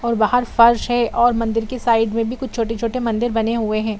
और बाहर फर्श है और मंदिर की साइड में भी कुछ छोटे-छोटे मंदिर बने हुए हैं।